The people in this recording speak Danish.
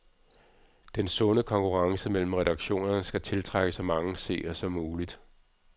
Den sunde konkurrence mellem redaktionerne skal tiltrække så mange seere som muligt.